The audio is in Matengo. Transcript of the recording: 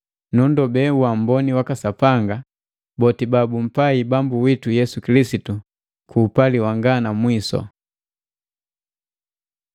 Nunndobe uamboni waka Sapanga boti babumpai Bambu witu Yesu Kilisitu ku upali wanga na mwisu.